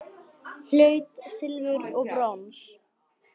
Hlaut silfur og brons